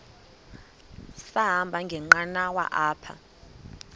sahamba ngenqanawa apha